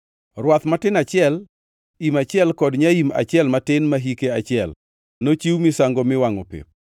rwath matin achiel, im achiel kod nyaim achiel matin ma hike achiel, nochiw misango miwangʼo pep;